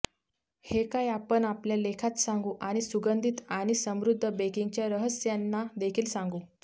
हे काय आपण आपल्या लेखात सांगू आणि सुगंधित आणि समृद्ध बेकिंगच्या रहस्यांना देखील सांगू